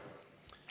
Teie aeg!